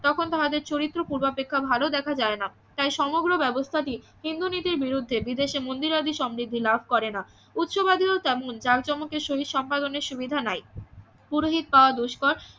তখন তাদের চরিত্র পূর্বাপেক্ষা ভালো দেখা যায় না তাই সমগ্র ব্যাবস্থা টি হিন্দু নীতির বিরুদ্ধে বিদেশে মন্দিরাদি সমৃদ্ধি লাভ করে না উচ্চাবাদীয়তা মূল জাক জমকের সহিত সুবিধা নাই পুরোহিত পাওয়া দুষ্কর